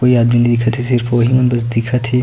कोई आदमी नइ दिखत हे सिर्फ ओही मन बस दिखत हे।